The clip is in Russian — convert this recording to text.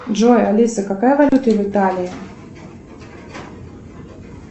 джой алиса какая валюта в италии